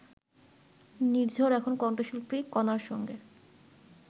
নির্ঝর এখন কণ্ঠশিল্পী কণার সঙ্গে